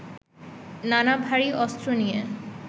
নানা ভারী অস্ত্র নিয়ে